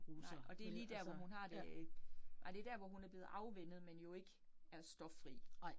Nej, og det lige dér, hvor hun har det, nej det dér, hvor hun er blevet afvænnet, men jo ikke er stoffri